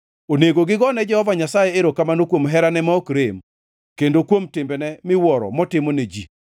Onego gigo ne Jehova Nyasaye erokamano kuom herane ma ok rem kendo kuom timbene miwuoro, motimo ne ji,